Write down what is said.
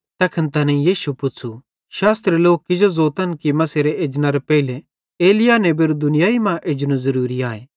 तैखन तैनेईं यीशुए पुच़्छ़ू शास्त्री लोक किजो ज़ोतन कि मसीहेरे एजनेरां पेइले एलिय्याह नेबेरू दुनियाई मां एजनू ज़रूरी आए